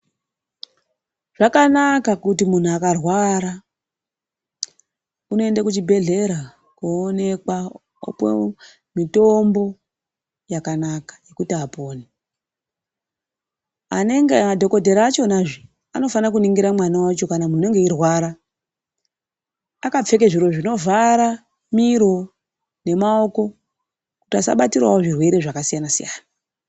Zvakanaka kuti munhu akarwara unoenda kuchibhedhlera koonekwa kopuwa mitombo yakanaka yekuti apone. Madhokodhera achonazve anofanira mwana wacho kana munhu unenge eirwara akapfeke zviro zvinovhara miro nemaomo kuti asabatirawo zvirwere zvakasiyana _siyana